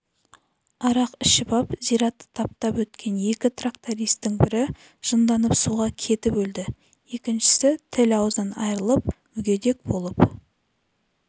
арақ ішіп ап зиратты таптап өткен екі трактористің бірі жынданып суға кетіп өлді екіншісі тіл-аузынан айрылып мүгедек болып